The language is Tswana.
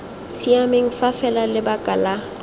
siameng fa fela lebaka la